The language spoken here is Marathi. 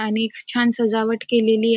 आणि एक छान सजावट केलेली आ--